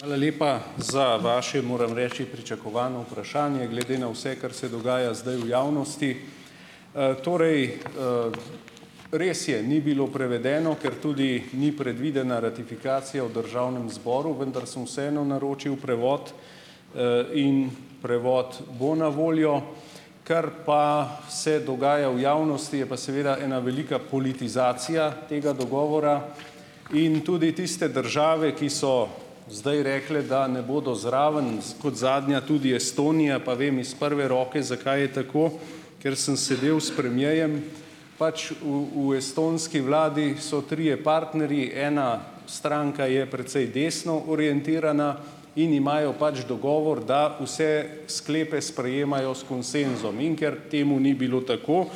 Hvala lepa za vaše, moram reči, pričakovano vprašanje, glede na vse, kar se dogaja zdaj v javnosti. Torej, Res je, ni bilo prevedeno, ker tudi ni predvidena ratifikacija v državnem zboru, vendar samo vseeno naročil prevod, in prevod bo na voljo. Kar pa se dogaja v javnosti, je pa seveda ena velika politizacija tega dogovora. In tudi tiste države, ki so zdaj rekle, da ne bodo zraven, kot zadnja tudi Estonija, pa vem iz prve roke, zakaj je tako, ker sem sedel s premierjem. Pač v v estonski vladi so trije partnerji, ena stranka je precej desno orientirana, in imajo pač dogovor, da vse sklepe sprejemajo s konsenzom. In ker temu ni bilo tako,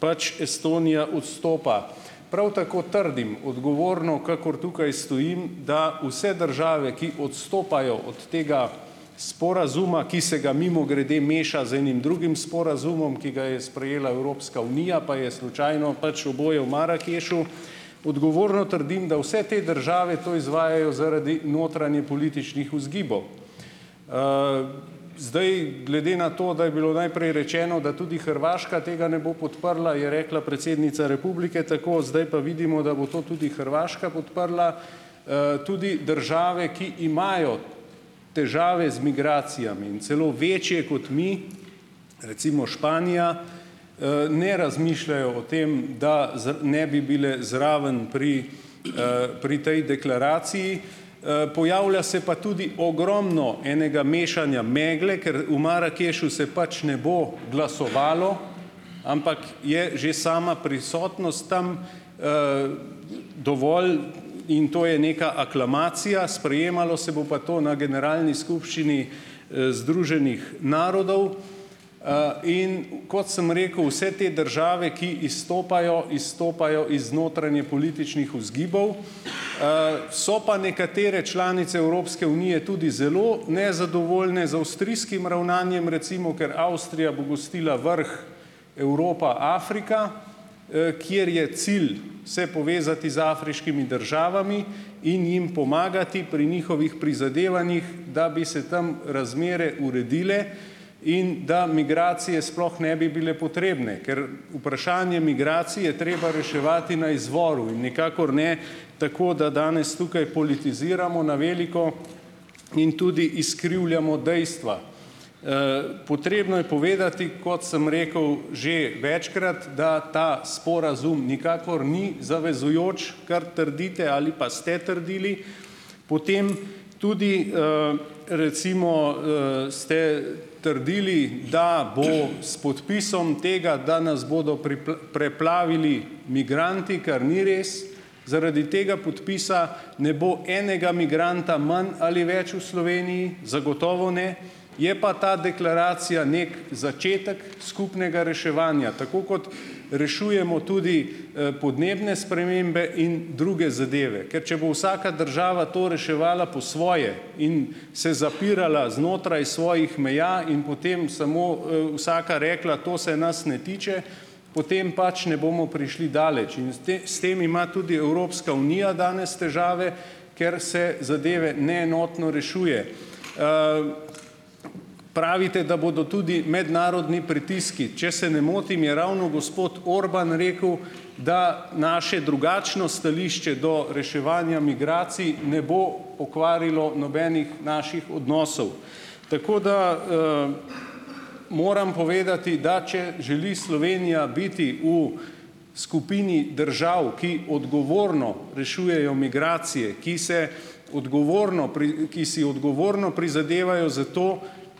pač, Estonija odstopa. Prav tako trdim, odgovorno kakor tukaj stojim, da vse države, ki odstopajo od tega sporazuma, ki se ga, mimogrede, meša z enim drugim sporazumom, ki ga je sprejela Evropska unija, pa je slučajno pač oboje v Marakešu. Odgovorno trdim, da vse te države to izvajajo zaradi notranjepolitičnih vzgibov. Zdaj glede na to, da je bilo najprej rečeno, da tudi Hrvaška tega ne bo podprla, je rekla predsednica republike tako, zdaj pa vidimo, da bo tudi Hrvaška podprla. Tudi države, ki imajo težave z migracijami in celo večje kot mi, recimo, Španija, ne razmišljajo o tem, da ne bi bile zraven pri, pri tej deklaraciji. Pojavlja se pa tudi ogromno enega mešanja megle, ker v Marakešu se pač ne bo glasovalo, ampak je že sama prisotnost tam, dovolj, in to je neka aklamacija, sprejemalo se bo pa to na generalni skupščini, Združenih narodov. In kot sem rekel, vse te države, ki izstopajo, izstopajo iz notranjepolitičnih vzgibov. So pa nekatere članice Evropske unije tudi zelo nezadovoljne z avstrijskim ravnanjem recimo, ker Avstrija bo gostila vrh Evropa-Afrika, kjer je cilj se povezati z afriškimi državami in jim pomagati pri njihovih prizadevanjih, da bi se tam razmere uredile in da migracije sploh ne bi bile potrebne, ker vprašanje migracij je treba reševati na izvoru in nikakor ne tako, da danes tukaj politiziramo na veliko in tudi izkrivljamo dejstva. Potrebno je povedati, kot sem rekel že večkrat, da ta sporazum nikakor ni zavezujoč, kar trdite ali pa ste trdili. Potem tudi, recimo, ste trdili, da bo s podpisom tega, da nas bodo preplavili migranti, kar ni res, zaradi tega podpisa ne bo enega migranta manj ali več v Sloveniji, zagotovo ne. Je pa ta deklaracija neki začetek skupnega reševanja, tako kot rešujemo tudi, podnebne spremembe in druge zadeve. Ker če bo vsaka država to reševala po svoje in se zapirala znotraj svojih meja in potem samo, vsaka rekla: "To se nas ne tiče,", potem pač ne bomo prišli daleč. In s s tem ima tudi Evropska unija danes težave, ker se zadeve neenotno rešuje. Pravite, da bodo tudi mednarodni pritiski. Če se ne motim, je ravno gospod Orbán rekel, da naše drugačno stališče do reševanja migracij ne bo pokvarilo nobenih naših odnosov. Tako da, moram povedati, da če želi Slovenija biti v skupini držav, ki odgovorno rešujejo migracije, ki se odgovorno ki si odgovorno prizadevajo za to,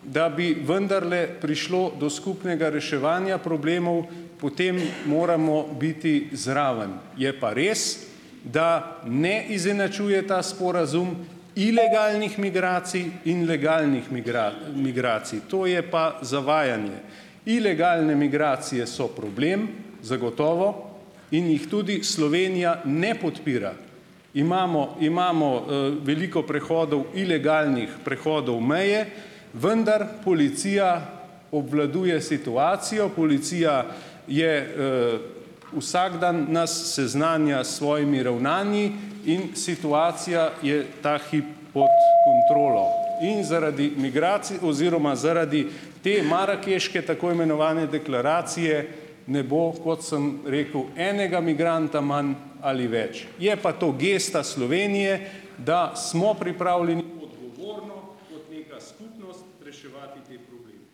da bi vendarle prišlo do skupnega reševanja problemov, potem moramo biti zraven. Je pa res, da ne izenačuje ta sporazum ilegalnih migracij in legalnih migracij, to je pa zavajanje. Ilegalne migracije so problem, zagotovo, in jih tudi Slovenija ne podpira. Imamo imamo, veliko prehodov ilegalnih prehodov meje, vendar policija obvladuje situacijo, policija je, vsak dan nas seznanja s svojimi ravnanji in situacija je ta hip pod kontrolo. In zaradi migracij oziroma Zaradi te marakeške tako imenovane deklaracije ne bo, kot sem rekel, enega migranta manj ali več, je pa to gesta Slovenije, da smo pripravljeni odgovorno kot neka skupnost reševati te probleme.